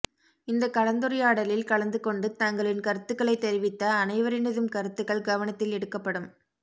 இந்தக் கலந்துரையாடலில் கலந்துகொண்டு தங்களின் கருத்துக்களை தெரிவித்த அனைவரினதும் கருத்துக்கள் கவனத்தில் எடுக்கப்படும்